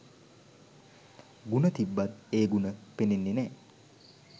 ගුණ තිබ්බත් ඒ ගුණ පෙනෙන්නේ නෑ.